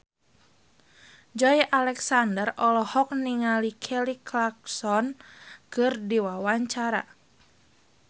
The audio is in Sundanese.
Joey Alexander olohok ningali Kelly Clarkson keur diwawancara